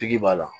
Pigi b'a la